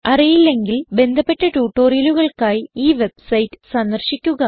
അറിയില്ലെങ്കിൽ ബന്ധപ്പെട്ട ട്യൂട്ടോറിയലുകൾക്കായി ഈ വെബ്സൈറ്റ് സന്ദർശിക്കുക